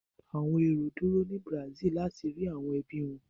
Àwọn èrò dúró ni Brazil láti rí àwọn ẹbí wọ.